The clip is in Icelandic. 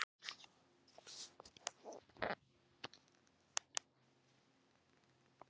Þangað verður flogið í kvöld.